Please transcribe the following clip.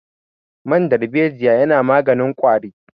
Man darbejiya yana maganin ƙwari